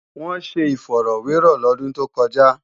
Wọ́n ṣe ifọ̀rọ́wẹrọ̀ lọ́dún tó kọjá